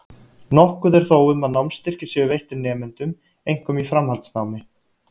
Nokkuð er þó um að námsstyrkir séu veittir nemendum, einkum í framhaldsnámi.